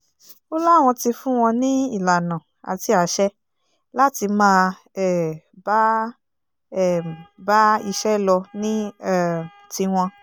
ó láwọn ti fún wọn ní ìlànà àti àṣẹ láti máa um bá um bá iṣẹ́ lọ ní um tiwọn